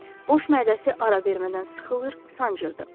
Boş mədəsi ara vermədən sıxılır, sancırdı.